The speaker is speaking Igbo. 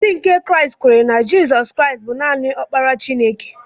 Ndị nke Kraịst kweere na Jizọs Kraịst bụ naanị Ọkpara Chineke.